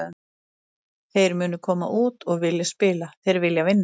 Þeir munu koma út og vilja spila, þeir vilja vinna.